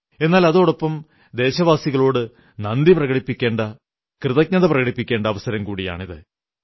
എന്നാൽ അതോടൊപ്പം ദേശവാസികളോടു നന്ദി പ്രകടിപ്പിക്കേണ്ട കൃതജ്ഞത പ്രകടിപ്പിക്കേണ്ട അവസരം കൂടിയാണിത്